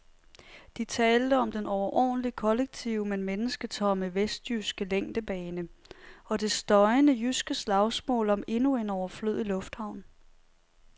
De talte om den overordentligt kollektive, men mennesketomme vestjyske længdebane og det støjende jyske slagsmål om endnu en overflødig lufthavn.